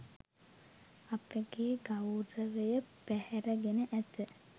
අපගේ ගෞරවය පැහැරගෙන ඇත.